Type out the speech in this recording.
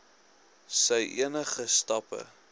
sy enige stappe